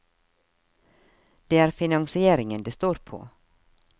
Det er finansieringen det står på.